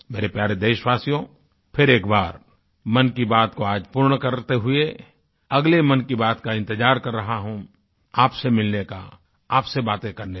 मेरे प्यारे देशवासियो फिर एक बार मन की बात को पूर्ण करते हुए अगले मन की बात का इंतज़ार कर रहा हूँ आपसे मिलने का आपसे बातें करने का